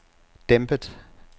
dæmpet